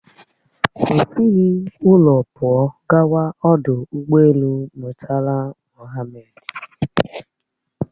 O sighi ụlọ pụọ gawa ọdụ ụgbọelu Murtala Mohammed